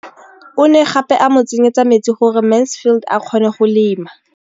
O ne gape a mo tsenyetsa metsi gore Mansfield a kgone go lema.